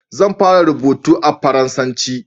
zan fara rubutu da faransanci